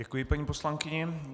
Děkuji paní poslankyni.